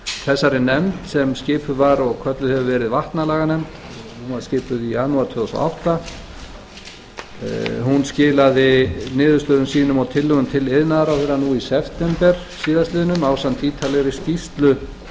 þessari nefnd sem skipuð var og kölluð hefur verið vatnalaganefnd hún var skipuð í janúar tvö þúsund og átta skilaði niðurstöðum sínum og tillögum til iðnaðarráðherra nú í september síðastliðinn ásamt ítarlegri skýrslu